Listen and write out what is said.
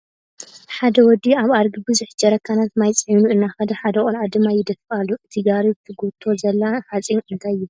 ሓደ ወዲ ኣብ ኣድጊ ብዙሕ ጀረካናት ማይ ዕዒኑ እናከደ ሓደ ቆልዓ ድማ ይደፍእ ኣሎ ። እቲ ጋሪ ትጎቶ ዘላ ሓፂን እንታይ ይበሃል?